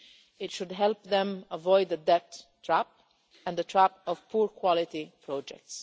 It should help them avoid the debt trap and the trap of poor quality projects.